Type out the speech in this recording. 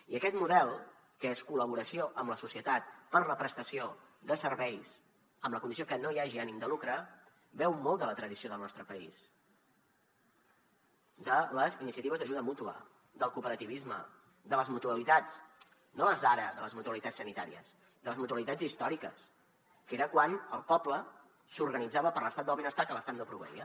i aquest model que és col·laboració amb la societat per a la prestació de serveis amb la condició que no hi hagi ànim de lucre beu molt de la tradició del nostre país de les iniciatives d’ajuda mútua del cooperativisme de les mutualitats no les d’ara de les mutualitats sanitàries de les mutualitats històriques que era quan el poble s’organitzava per a l’estat del benestar que l’estat no proveïa